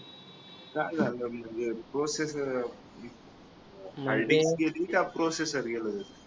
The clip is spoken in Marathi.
काय झालं म्हणजे प्रोसेसर हार्ड डिस्क गेले का प्रोसेसर गेलाय